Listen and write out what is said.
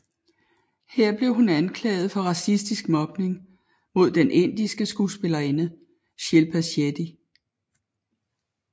Her blev hun blev anklaget for racistisk mobning mod den indiske skuespillerinde Shilpa Shetty